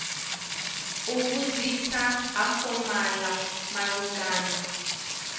u vhudzisa ha fomala malugana